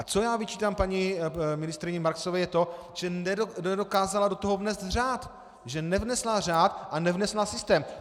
A co já vyčítám paní ministryni Marksové, je to, že nedokázala do toho vnést řád, že nevnesla řád a nevnesla systém.